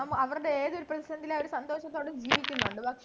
അവര് ഏത് ലും അവര് സന്തോഷത്തോടെ ജീവിക്കുന്നുണ്ട്